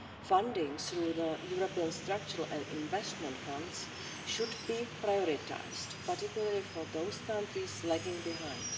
Funding through the European Structural and Investment Funds should be prioritised, particularly for those countries lagging behind.